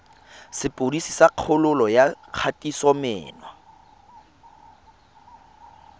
sepodisi sa kgololo ya kgatisomenwa